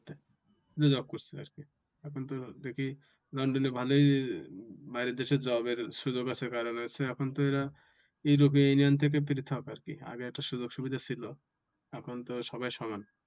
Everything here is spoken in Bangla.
শুধু job করছে আর কি এখন তো দেখি লন্ডনে ভালোই বাইরের দেশের job এর সুযোগ আছে। কারণ হচ্ছে এখন তো এরা european union থেকে পৃথক আর কি আগে তো সুযোগ সুবিধা ছিল। এখন তো সবাই সমান।